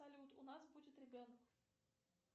салют у нас будет ребенок